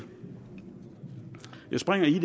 jeg springer igen